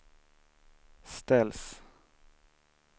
ställs